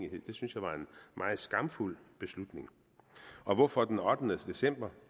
meget skamfuld beslutning og hvorfor den ottende december